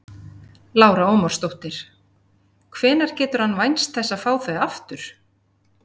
Lára Ómarsdóttir: Hvenær getur hann vænst þess að fá þau aftur?